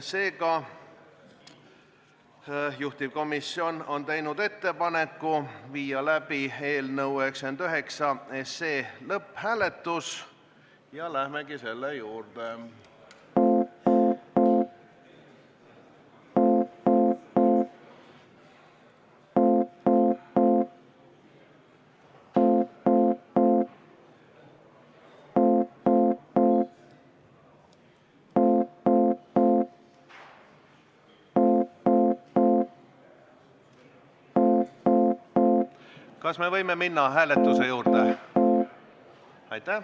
Seega juhtivkomisjon on teinud ettepaneku viia läbi eelnõu 99 lõpphääletus ja lähemegi selle juurde.